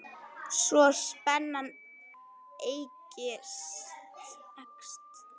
Svo spennan eykst.